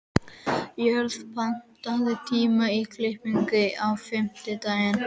Jörvar, pantaðu tíma í klippingu á fimmtudaginn.